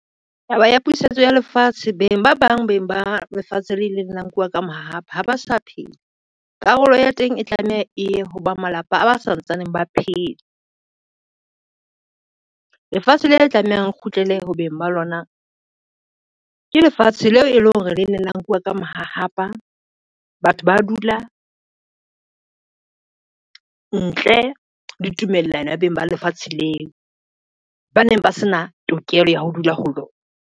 Taba ya puseletso ya lefatshe, beng ba bang beng ba lefatshe le leng la nkuwa ka mahahapa ha ba sa phetha. Karolo ya teng, e tlameha e ho ba malapa a ba santsaneng ba phela. Lefatshe le tlamehang kgutlele ho beng ba lona, ke lefatshe leo e leng hore le leng la nkuwa ka mahahapa, batho ba dula ntle le tumellano ya beng ba lefatshe leo ba neng ba se na tokelo ya ho dula ho lona.